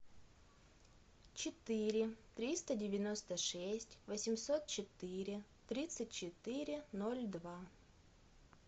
четыре триста девяносто шесть восемьсот четыре тридцать четыре ноль два